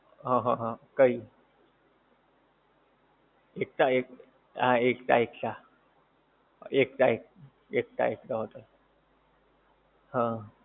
આહા હા, કઈ? એકતા એક હાં એકતા એકતા. એકતા એક એકતા એકતા હશે. હં.